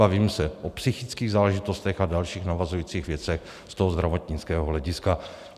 Bavím se o psychických záležitostech a dalších navazujících věcech z toho zdravotnického hlediska.